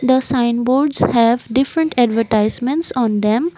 the sign boards have different advertisements on them.